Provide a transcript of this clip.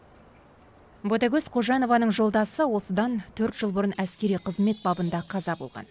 ботагөз қожанованың жолдасы осындан төрт жыл бұрын әскери қызмет бабында қаза болған